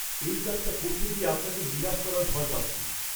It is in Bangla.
এই কাজটা করতে গিয়ে আপনাকে নিরাশ করার ভয় পাচ্ছি।